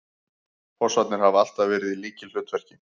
Fossarnir hafa alltaf verið í lykilhlutverki